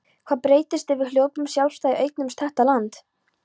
Hvað breytist ef við hljótum sjálfstæði og eignumst þetta land.